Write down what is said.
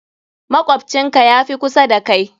Makwabcin ka ya fi kusa da kai.